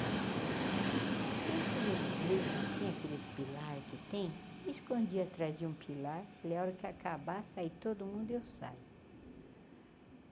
E eu cheguei na igreja, tinha aqueles pilar que tem, me escondi atrás de um pilar, falei, a hora que acabar, sai, todo mundo, eu saio.